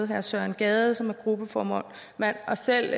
herre søren gade som er gruppeformand og selv